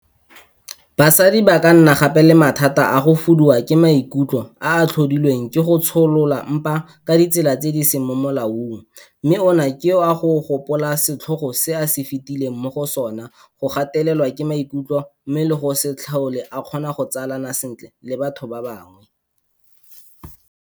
Basadi ba ka nna gape le mathata a go fuduwa ke maikutlo a a tlhodilweng ke go tsholola mpa ka ditsela tse di seng mo molaong mme ona ke a go gopola setlhogo se a fetileng mo go sona, go gatelelwa ke maikutlo mmogo le go se tlhole a kgona go tsalana sentle le batho ba bangwe.